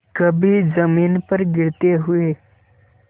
कभी जमीन पर गिरते हुए